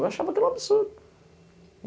Eu achava que era um absurdo.